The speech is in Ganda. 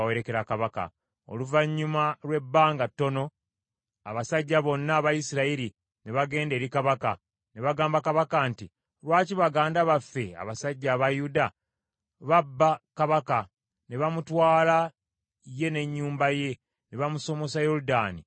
Oluvannyuma lwe bbanga ttono, abasajja bonna aba Isirayiri ne bagenda eri kabaka, ne bagamba kabaka nti, “Lwaki baganda baffe, abasajja aba Yuda, babba kabaka, ne bamutwala ye n’ennyumba ye, ne bamusomosa Yoludaani n’abasajja be?”